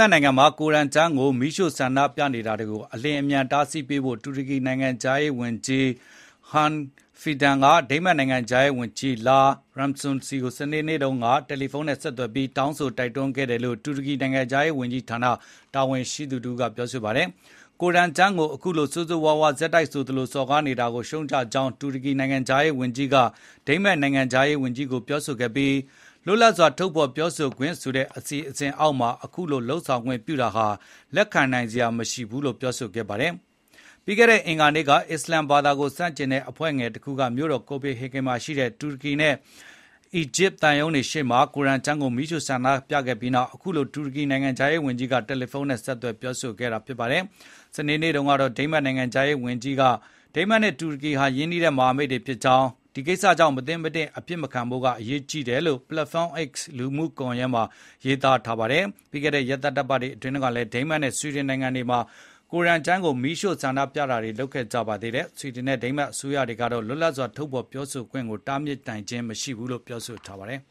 တ်နိုင်ငံမှာ ကိုရမ်ကျမ်း မီးရှို့ဆန္ဒပြနေတာတွေကို အလျင်အမြန် တားဆီးပေးဖို့ တူရကီနိုင်ငံခြားရေးဝန်ကြီး Hakan Fidan က ဒိန်းမတ်နိုင်ငံခြားရေးဝန်ကြီး Lars Lokke Rasumussen ကို စနေနေ့တုန်းက တယ်လီဖုန်းနဲ့ ဆက်သွယ်တောင်းဆို တိုက်တွန်းခဲ့တယ်လို့ တူရကီနိုင်ငံခြားရေးဝန်ကြီးဌာန တာဝန်ရှိသူက ပြောဆိုပါတယ်။ ကိုရမ်ကျမ်းကို အခုလို ဆိုးဆိုးရွားရွား ဆက်တိုက်ဆိုသလို စော်ကားနေတာကို ရှုတ်ချကြောင်း တူရကီနိုင်ငံခြားရေးဝန်ကြီးက ဒိန်းမတ်နိုင်ငံခြားရေးဝန်ကြီးကို ပြောဆိုခဲ့ပြီး၊ လွတ်လပ်စွာဖေါ်ပြခွင့်ဆိုတဲ့ ခေါင်းစဉ်အောက်မှာ အခုလိုလုပ်ဆောင်ခွင့်ပြုတာဟာ လက်ခံနိုင်စရာမရှိဘူးလို့ ပြောဆိုခဲ့ပါတယ်။ ပြီးခဲ့တဲ့ အင်္ဂါနေ့က အစ္စလမ်ဘာသာကို ဆန့်ကျင်တဲ့ အဖွဲ့ငယ်တခုက မြို့တော် ကိုပေဟေဂင် မှာရှိတဲ့ တူရကီနဲ့ အီဂျစ် သံရုံးတွေရှေ့မှာ ကိုရမ်ကျမ်းကို မီးရှို့ဆန္ဒပြခဲ့ပြီးနောက် အခုလို တူရကီနိုင်ငံခြားရေးဝန်ကြီးက တယ်လီဖုန်းနဲ့ ဆက်သွယ် ပြောဆိုခဲ့တာပါ။ စနေနေ့မှာ ဒိန်းမတ်နိုင်ငံခြားရေးဝန်ကြီး Rasumussen က ဒိန်းမတ်နဲ့တူရကီတို့ဟာ ရင်းနှီးတဲ့ မဟာမိတ်တွေဖြစ်ကြောင်းနဲ့ ဒီကိစ္စရပ်ကြောင့် မသင့်မတင့် အဖြစ်မခံဖို့ အရေးကြီးတယ်လို့ Platform X လူမှုကွန်ယက်မှာ ရေးသား ခဲ့ပါတယ်။ ပြီးခဲ့တဲ့ ရက်သတ္တပတ်အတွင်းတုန်းကလည်း ဒိန်းမတ်နဲ့ဆွီဒင်နိုင်ငံတွေမှာ ကိုရမ်ကျမ်းကို မီးရှို့ဆန္ဒပြခဲ့ကြပါသေးတယ်။ ဒိန်းမတ်နဲ့ ဆွီဒင်အစိုးရတွေကတော့ လွတ်လပ်စွာထုတ်ဖေါ်ပြောဆိုခွင့်ကို တားမြစ်တာမျိုး လုပ်လို့မရဘူးလို့ပြောဆို ထားပါတယ်